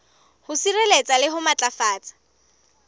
ho sireletsa le ho matlafatsa